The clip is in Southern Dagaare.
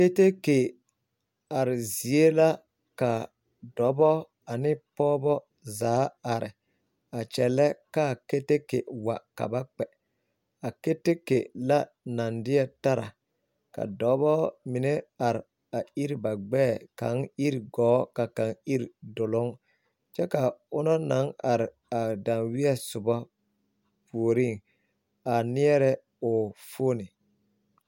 Kerekekye are zie la ka dɔbɔ ane pɔgebɔ zaa are a kyɛlɛɛ ka kerekekyee wa ka ba kpɛ a kerekekye la naŋ deɛ tara ka dɔba mine deɛ iri ba gbɛɛ a iri gɔɔ ka kaŋ iri duluŋ kyɛ ka ona naŋ are a danweɛ soba puoriŋ neɛrɛ o fooni.